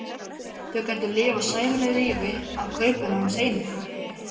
Þau gætu lifað sæmilegu lífi af kaupinu hans einu.